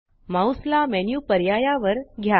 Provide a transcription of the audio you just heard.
mouse ला menu पर्यायावर घ्या